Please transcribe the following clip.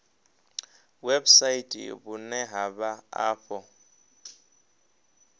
website vhune ha vha afho